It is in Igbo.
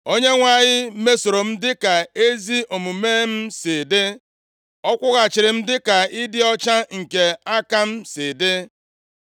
“ Onyenwe anyị mesoro m dịka ezi omume m si dị, Ọ kwụghachiri m dịka ịdị ọcha nke aka m si dị.